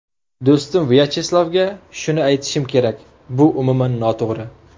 Do‘stim Vyacheslavga shuni aytishim kerak, bu umuman noto‘g‘ri.